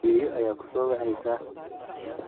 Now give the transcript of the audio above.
Ayeeyo ayaa ku soo waceysa.